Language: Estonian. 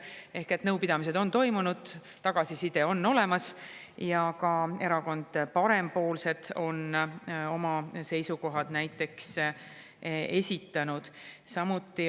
Ehk et nõupidamised on toimunud, tagasiside on olemas ja näiteks ka Erakond Parempoolsed on oma seisukohad esitanud.